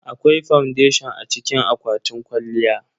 Akwai fondation a cikin akwatin kwalliya.